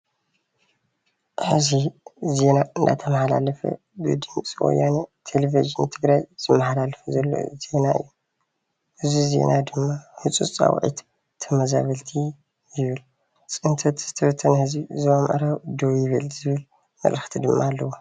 ሕዚ ዜና እናተማሓላለፈ ብድምፂ ወያነ ቴሌቭዥን ትግራይ ዝመሓላለፍ ዘሎ እዩ፡፡ እዚ ዜና ድማ ህፁፅ ፃዊዕት ተመዛበልቲ ይብል፡፡ ፅንተት ዝተበተነ ህዝቢ ዞባ ምዕራብ ደው ይበል ዝብል መልእክቲ ድማ ኣለዎ፡፡